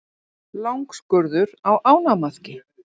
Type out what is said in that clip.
Langskurður á ánamaðki.